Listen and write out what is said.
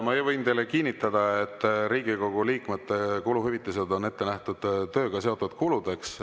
Ma võin teile kinnitada, et Riigikogu liikmete kuluhüvitised on ette nähtud tööga seotud kuludeks.